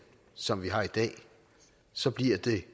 som vi har i dag så bliver det